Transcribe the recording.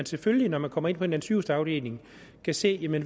selvfølgelig når man kommer ind på en sygehusafdeling kan se hvad